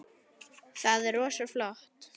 Það er rosa flott.